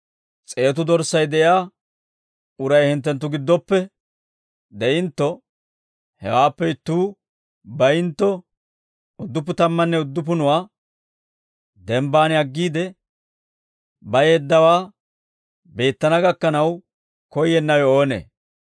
«S'eetu dorssay de'iyaa uray hinttenttu giddoppe de'intto hewaappe ittuu bayintto udduppu tammanne udduppunuwaa denbbaan aggiide bayeeddawaa beettana gakkanaw koyyennawe oonee?